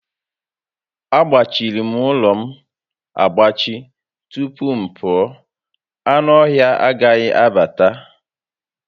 Agbachirim ụlọ m agbachi tupu m pụọ, anụ ọhịa agaghi abata